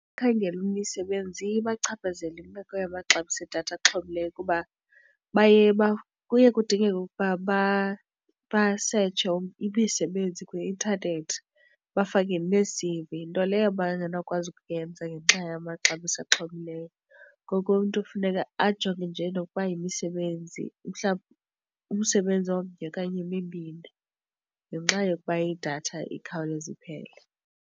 Abakhangela imisebenzi iye ibachaphazele imeko yamaxabiso edatha axhomileyo kuba kuye kudingeke ukuba basetshe imisebenzi kwi-intanethi bafake nee-C_V nto leyo aba ngenokwazi ukuyenza ngenxa yamaxabiso axhomileyo. Ngoko umntu kufuneka ajonge nje nokuba yimisebenzi mhlawumbi umsebenzi omnye okanye emibini ngenxa yokuba idatha ikhawuleze iphele.